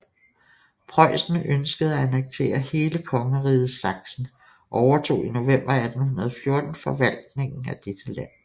Preussen ønskede at annektere hele kongeriget Sachsen og overtog i november 1814 forvaltningen af dette land